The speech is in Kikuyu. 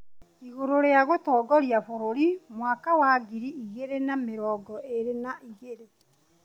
igũrũ rĩa gũtongoria bũrũri mwaka wa ngiri igĩrĩ na mĩrongo ĩrĩ na igĩrĩ.